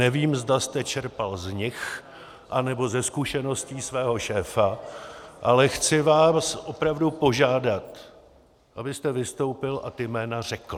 Nevím, zda jste čerpal z nich nebo ze zkušeností svého šéfa, ale chci vás opravdu požádat, abyste vystoupil a ta jména řekl.